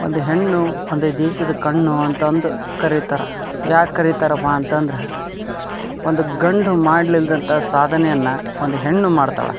ಒಂದು ಹೆಣ್ಣು ಒಂದು ದೇಶದ ಕಣ್ಣು ಅಂತ ಅಂದು ಕರಿತರ್ ಯಾಕ್ ಕರಿತರ ಅಪ್ಪಾಅಂತ ಅಂದ್ರೆ ಒಂದು ಗಂಡು ಮಾಡಲ್ಲಿಲದಂತ ಸಾಧನೆಯನ್ನ ಒಂದು ಹೆಣ್ಣು ಮಾಡತ್ತಳೆ.